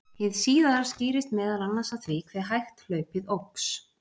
Hið síðara skýrist meðal annars af því hve hægt hlaupið óx.